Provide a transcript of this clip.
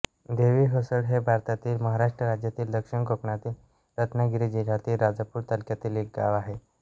देवी हसोळ हे भारतातील महाराष्ट्र राज्यातील दक्षिण कोकणातील रत्नागिरी जिल्ह्यातील राजापूर तालुक्यातील एक गाव आहे